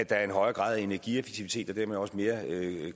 er en højere grad af energieffektivitet og dermed også mere